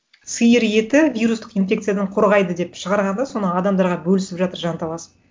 сиыр еті вирустық инфекциядан қорғайды деп шығарған да соны адамдарға бөлісіп жатыр жанталасып